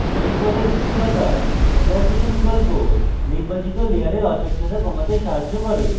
blend mode এর নীচে থাকা opacity বিকল্প নির্বাচিত layer অস্বচ্ছতা কমাতে সাহায্য করে